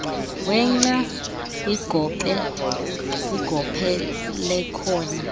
wenca kwigophe lekona